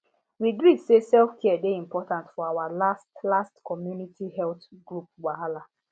we gree say selfcare dey important for our last last community health group wahala